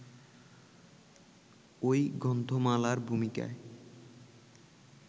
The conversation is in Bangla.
ওই গ্রন্থমালার ভূমিকায়